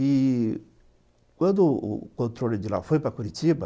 E quando o controle de lá foi para Curitiba,